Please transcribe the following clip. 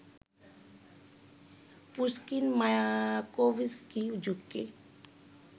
Pushkin-Mayakovsky যুগকে